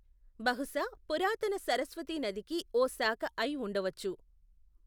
బహుశా పురాతన సరస్వతీ నదికి ఓ శాఖ అయి ఉండవచ్చు.